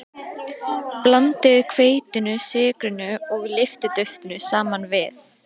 Blandið hveitinu, sykrinum og lyftiduftinu saman við.